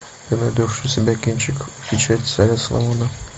ты найдешь у себя кинчик печать царя соломона